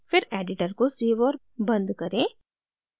फिर editor को save और बंद करें